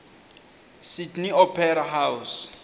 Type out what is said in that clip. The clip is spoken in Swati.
sydney opera house